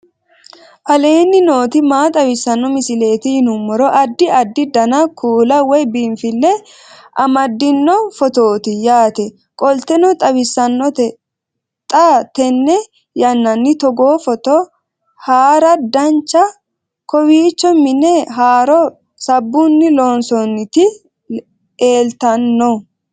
aleenni nooti maa xawisanno misileeti yinummoro addi addi dananna kuula woy biinfille amaddino footooti yaate qoltenno baxissannote xa tenne yannanni togoo footo haara danchate kowiicho mine haaro sabbunni loonsoonniti eeltanno